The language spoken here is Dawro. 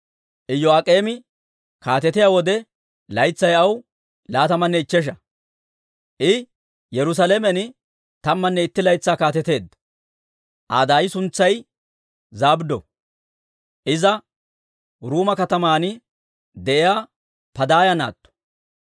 Iyo'aak'eemi kaatetiyaa wode laytsay aw laatamanne ichchesha; I Yerusaalamen tammanne itti laytsaa kaateteedda. Aa daay suntsay Zabddo; Iza Ruuma kataman de'iyaa Padaaya naatto.